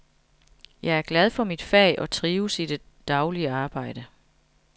Jeg er glad for mit fag og trives i det daglige arbejde.